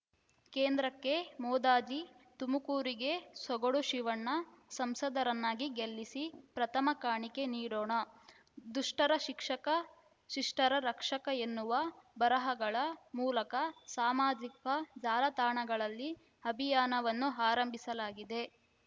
ಕೇಂದ್ರಕ್ಕೆ ಮೋದಜಿ ತುಮಕೂರಿಗೆ ಸೊಗಡು ಶಿವಣ್ಣ ಸಂಸದರನ್ನಾಗಿ ಗೆಲ್ಲಿಸಿ ಪ್ರಥಮ ಕಾಣಿಕೆ ನೀಡೋಣ ದುಷ್ಟರ ಶಿಕ್ಷಕಶಿಷ್ಟರ ರಕ್ಷಕ ಎನ್ನುವ ಬರಹಗಳ ಮೂಲಕ ಸಾಮಾಜಿಕ ಜಾಲತಾಣಗಳಲ್ಲಿ ಅಭಿಯಾನವನ್ನು ಆರಂಭಿಸಲಾಗಿದೆ